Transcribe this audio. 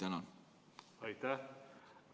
Aitäh!